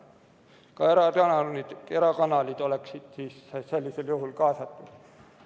Ka tänased erakanalid oleksid siis sellisel juhul kaasatud.